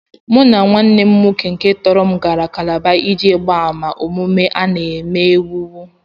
Mụ na nwanne m nwoke nke tọrọ m gara Kálábá iji gbaa àmà omume a na-ewu ewu